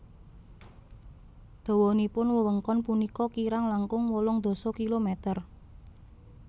Dawanipun wewengkon punika kirang langkung wolung dasa kilometer